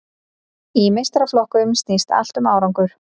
Í meistaraflokkum snýst allt um árangur.